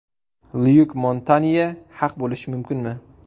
Lyuk Montanye haq bo‘lishi mumkinmi?